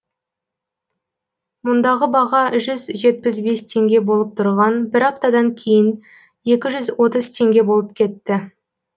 мұндағы баға жүз жетпіс бес теңге болып тұрған бір аптадан кейін екі жүз отыз теңге болып кетті